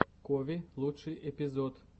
кови лучший эпизод